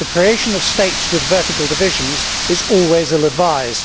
the creation of states with vertical divisions is always ill advised.